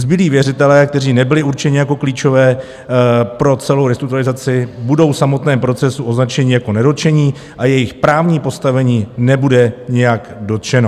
Zbylí věřitelé, kteří nebyli určeni jako klíčoví pro celou restrukturalizaci, budou v samotném procesu označeni jako nedotčení a jejich právní postavení nebude nijak dotčeno.